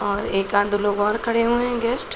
और एकाद-दो लोग और खड़े हुए हैं गेस्ट ।